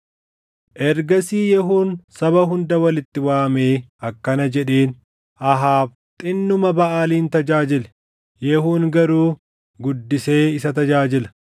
Ergasii Yehuun saba hunda walitti waamee akkana jedheen; “Ahaab xinnuma Baʼaalin tajaajile. Yehuun garuu guddisee isa tajaajila.